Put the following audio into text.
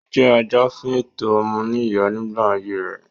Ó jẹ́ ajàfún ẹ̀tọ́ ọmọnìyàn nígbà ayé rẹ̀.